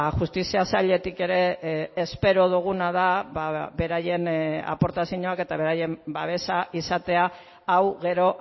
justizia sailetik ere espero duguna da beraien aportazioak eta beraien babesa izatea hau gero